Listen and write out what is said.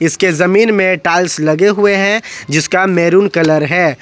इसके जमीन में टाइल्स लगे हुए हैं जिसका मैरून कलर है।